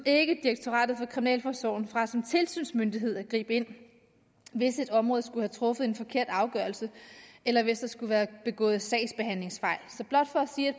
ikke direktoratet for kriminalforsorgen fra som tilsynsmyndighed at gribe ind hvis et område skulle have truffet en forkert afgørelse eller hvis der skulle være begået sagsbehandlingsfejl